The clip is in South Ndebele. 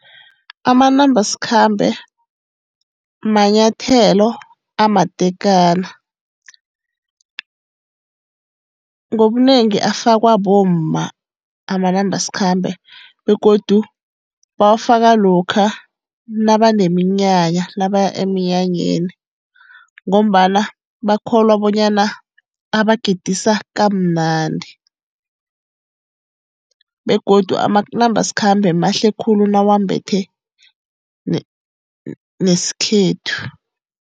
Amanambasikhambe manyathelo amatekana. Ngobunengi afakwa bomma amanambasikhambe, begodu bawafaka lokha nabaneminyanya, nabaya emnyanyeni. Ngombana bakholwa bonyana abagidisa kamnandi. Begodu amanambasikhambe mahle khulu nawambethe nesikhethu.